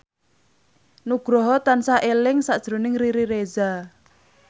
Nugroho tansah eling sakjroning Riri Reza